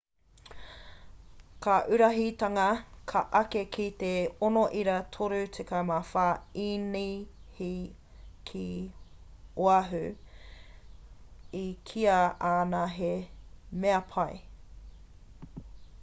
ka uruhitanga ka eke ki te 6.34 īnihi ki oahu i kīa ana he mea pai